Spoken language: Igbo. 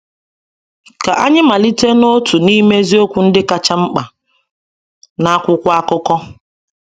Ka anyị malite na otu n’ime eziokwu ndị kacha mkpa n’akwụkwọ akụkọ.